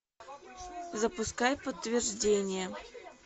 запускай подтверждение